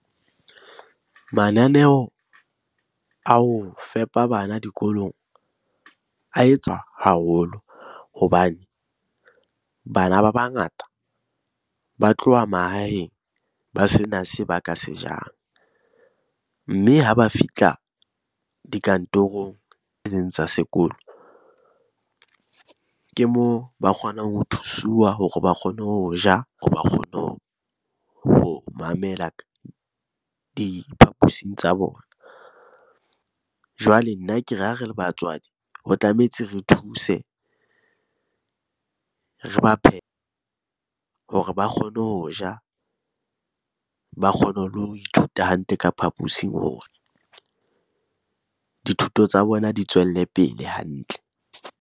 Mananeo a ho fepa bana dikolong a etswa haholo hobane bana ba bangata ba tloha mahaheng ba sena se ba ka se jang. Mme ha ba fihla dikantorong tse tsa sekolo, ke moo ba kgonang ho thusuwa hore ba kgone ho ja hore ba kgone ho mamela ka diphapusing tsa bona. Jwale nna ke re, ha re le batswadi ho tlametse re thuse, re ba hore ba kgone ho ja, ba kgone le ho ithuta hantle ka phaposing hore dithuto tsa bona di tswelle pele hantle.